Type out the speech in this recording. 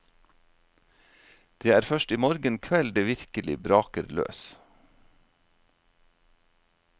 Det er først i morgen kveld det virkelig braker løs.